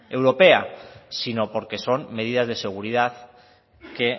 europea sino porque son medidas de seguridad que